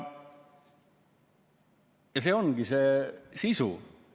" Ja see ongi see sisu.